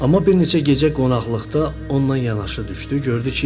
Amma bir neçə gecə qonaqlıqda onunla yanaşı düşdü.